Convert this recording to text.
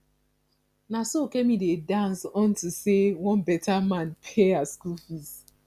na so kemi dey dance unto say one beta man pay her school fees